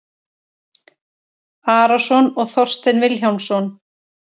Arason og Þorstein Vilhjálmsson